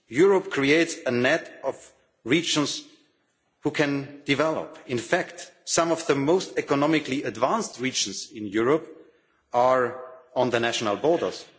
Europe creates a net of regions that can develop. In fact, some of the most economically advanced regions in Europe are on the national borders.